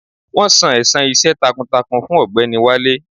Wọn san ẹ̀san iṣẹ́ takuntakun fún ọ̀gbẹ́ni Wale.